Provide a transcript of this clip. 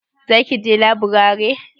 Za ki je laburare?